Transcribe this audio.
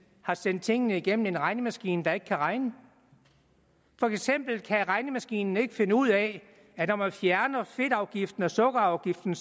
har sendt tingene igennem en regnemaskine der ikke kan regne for eksempel kan regnemaskinen ikke finde ud af at når man fjerner fedtafgiften og sukkerafgiften